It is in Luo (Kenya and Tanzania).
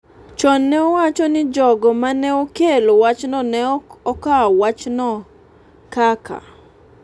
chon ne owacho ni jogo ma ne okelo wachno ne ok okawo wachno kaka .